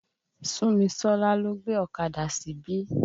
Súnmisọ́lá lọ́ gbé ọ̀kadà síbí.